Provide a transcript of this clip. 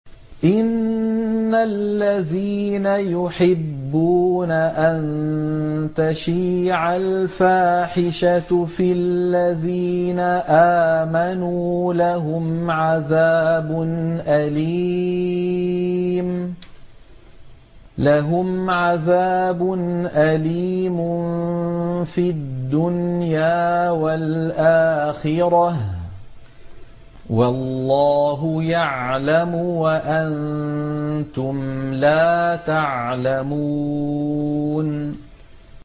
إِنَّ الَّذِينَ يُحِبُّونَ أَن تَشِيعَ الْفَاحِشَةُ فِي الَّذِينَ آمَنُوا لَهُمْ عَذَابٌ أَلِيمٌ فِي الدُّنْيَا وَالْآخِرَةِ ۚ وَاللَّهُ يَعْلَمُ وَأَنتُمْ لَا تَعْلَمُونَ